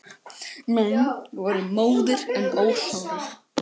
Menn voru móðir en ósárir.